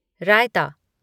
रायता